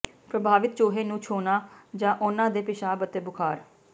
ਪ੍ਰਭਾਵਿਤ ਚੂਹੇ ਨੂੰ ਛੋਹਣਾ ਜਾਂ ਉਨ੍ਹਾਂ ਦੇ ਪਿਸ਼ਾਬ ਅਤੇ ਬੁਖ਼ਾਰ